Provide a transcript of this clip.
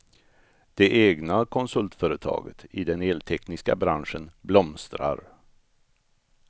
Det egna konsultföretaget, i den eltekniska branschen, blomstrar.